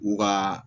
U ka